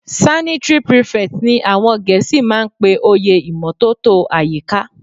Sanitary prefect ni àwọn gẹ̀ẹ́sì máa ń pe oyè ìmótótó àyíká.